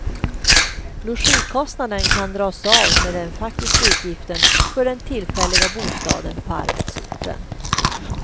Logikostnaden kan dras av med den faktiska utgiften för den tillfälliga bostaden på arbetsorten.